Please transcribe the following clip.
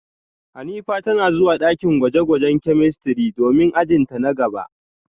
Hanifa tana zuwa dakin gwaje-gwajen chemistry domin ajin ta na gaba